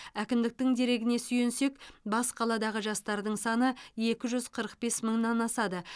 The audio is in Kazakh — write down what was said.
әкімдіктің дерегіне сүйенсек бас қаладағы жастардың саны екі жүз қырық бес мыңнан асады